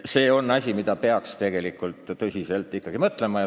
See on asi, mille üle peaks tegelikult ikkagi tõsiselt mõtlema.